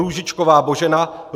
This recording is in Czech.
Růžičková Božena